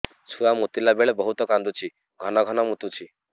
ଛୁଆ ମୁତିଲା ବେଳେ ବହୁତ କାନ୍ଦୁଛି ଘନ ଘନ ମୁତୁଛି